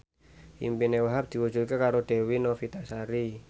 impine Wahhab diwujudke karo Dewi Novitasari